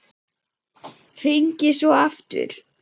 Hringi svo aftur.